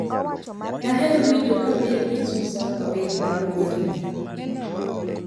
Daher winjo ka Mary gi Suzanna wer bang' werni